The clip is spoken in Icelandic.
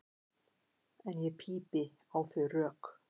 En ég pípi á þau rök.